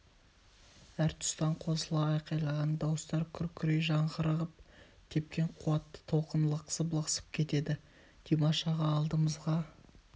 әр тұстан қосыла айқайлаған дауыстар күркірей жаңғырығып тепкен қуатты толқын лықсып-лықсып кетеді димаш аға алдымызға